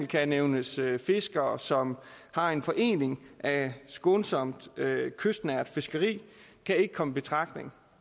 kan det nævnes at fiskere som har en forening af skånsomt kystnært fiskeri ikke kan komme i betragtning